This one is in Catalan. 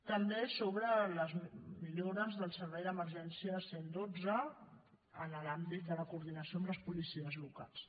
també sobre les millores del servei d’emergència cent i dotze en l’àmbit de la coordinació amb les policies locals